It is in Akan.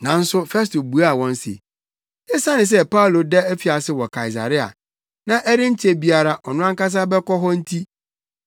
Nanso Festo buaa wɔn se, esiane sɛ Paulo da afiase wɔ Kaesarea na ɛrenkyɛ biara ɔno ankasa bɛkɔ hɔ nti,